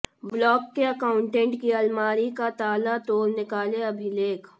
block के accountant की अलमारी का ताला तोड़ निकाले अभिलेख